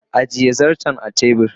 ajiye zarton a tebur